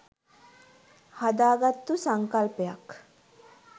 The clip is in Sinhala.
හදාගත්තු සංකල්පයක්.